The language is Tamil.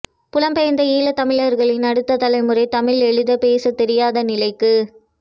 புலம் பெயர்ந்த ஈழத் தமிழர்களின் அடுத்த தலைமுறை தமிழ் எழுதப் பேசத் தெரியாத நிலைக்கு